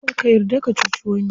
Kar ka yarda ka cuci wani.